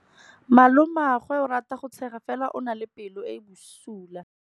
Malomagwe o rata go tshega fela o na le pelo e e bosula.